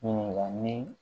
Ɲininkali